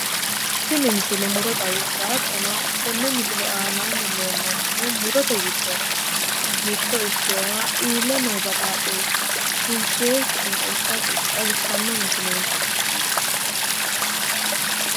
Tini misile muro xawissawo hattono tenne misile aana leellannohu murote giddonni mitto ikkewoha iille no baxaaxxessa kinsookkiha xawissanno misileeti.